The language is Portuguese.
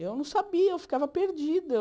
Eu não sabia, eu ficava perdida.